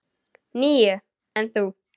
Níu, en þú?